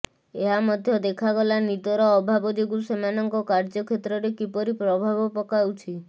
ଏହା ମଧ୍ୟ ଦେଖାଗଲା ନିଦର ଅଭାବ ଯୋଗୁଁ ସେମାନଙ୍କ କାର୍ଯ୍ୟକ୍ଷେତ୍ରରେ କିପରି ପ୍ରଭାବ ପକାଉଛି